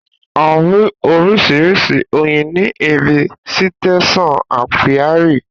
A rí oríṣiríṣi oyin ní ibi sítésàn ápíárì